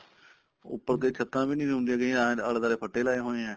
ਉੱਪਰ ਕਈ ਛੱਤਾਂ ਵੀ ਨੀ ਹੁੰਦੀਆਂ ਸੀਗੀਆਂ ਆਲੇ ਦਵਾਲੇ ਫੱਟੇ ਲਾਏ ਹੋਏ ਏ